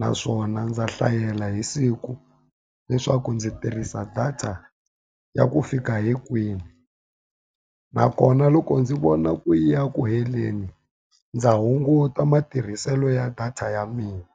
Naswona ndza hlayela hi siku swa ku ndzi tirhisa data ya ku fika hi kwihi. Nakona loko ndzi vona ku yi ya ku heleni, ndza hunguta matirhiselo ya data ya mina.